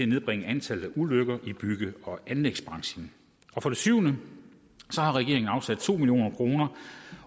nedbringe antallet af ulykker i bygge og anlægsbranchen for det syvende har regeringen afsat to million kroner